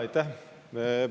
Aitäh!